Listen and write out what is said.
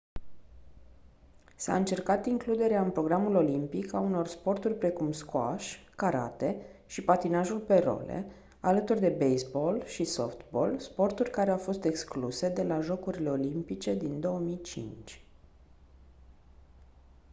s-a încercat includerea în programul olimpic a unor sporturi precum squash karate și patinajul pe role alături de baseball și softball sporturi care au fost excluse de la jocurile olimpice din 2005